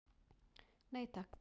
Nei takk.